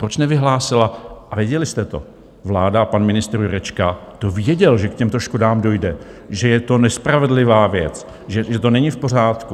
Proč nevyhlásila - a věděli jste to, vláda a pan ministr Jurečka to věděli, že k těmto škodám dojde, že je to nespravedlivá věc, že to není v pořádku.